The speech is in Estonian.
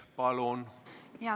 Palun!